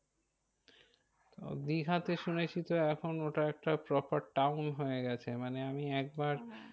তো দীঘাতে শুনেছি তো এখন ওটা একটা proper town হয়ে গেছে মানে আমি একবার